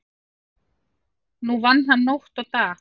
Nú vann hann nótt og dag.